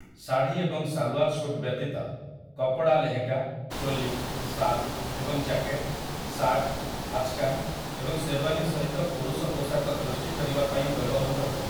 ଶାଢ଼ୀ ଏବଂ ସାଲୱାର ସୁଟ୍ ବ୍ୟତୀତ, କପଡ଼ା ଲେହେଙ୍ଗା, ଚୋଲି, ଶାଲ ଏବଂ ଜ୍ୟାକେଟ୍, ସାର୍ଟ, ଆଚକାନ୍ ଏବଂ ଶେରୱାନି ସହିତ ପୁରୁଷ ପୋଷାକ ସୃଷ୍ଟି କରିବା ପାଇଁ ବ୍ୟବହୃତ ହୁଏ ।